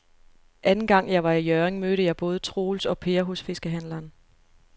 Anden gang jeg var i Hjørring, mødte jeg både Troels og Per hos fiskehandlerne.